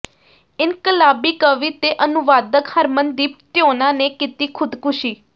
ਇਨਕਲਾਬੀ ਕਵੀ ਤੇ ਅਨੁਵਾਦਕ ਹਰਮਨਦੀਪ ਤਿਉਣਾ ਨੇ ਕੀਤੀ ਖ਼ੁਦਕੁਸ਼ੀ